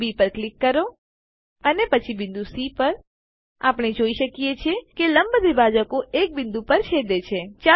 બિંદુ બી પર ક્લિક કરો અને પછી બિંદુ સી પર આપણે જોઈ શકીએ છીએ કે લંબ દ્વિભાજકો એક બિંદુ પર છેદે છે